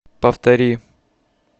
повтори